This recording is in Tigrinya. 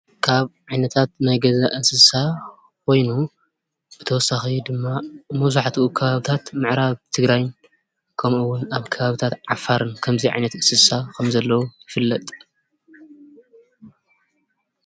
ካብ ዓይነታት ናይ ገዛ እንስሳ ወይውን ብተወሳኺ ድማ መብዛሕትኡ ኣብ ከባብታት ምዕራብ ትግራይ ከምኡውን ኣብ ከባብታት ዓፋርን ከምዙይ ዓይነት እንስሳ ኸም ዘለዉ ይፍለጥ፡፡